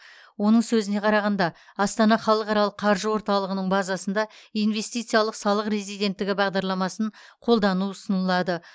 оның сөзіне қарағанда астана халықаралық қаржы орталығының базасында инвестициялық салық резиденттігі бағдарламасын қолдану ұсынылады